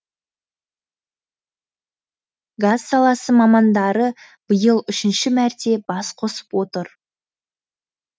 газ саласы мамандары биыл үшінші мәрте бас қосып отыр